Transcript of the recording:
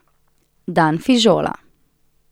Dan fižola.